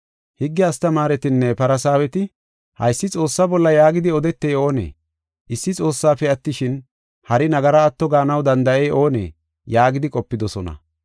Higge astamaaretinne Farsaaweti, “Haysi Xoossaa bolla yaagidi odetey oonee? Issi Xoossafe attishin, hari nagara atto gaanaw danda7ey oonee?” yaagidi qopidosona.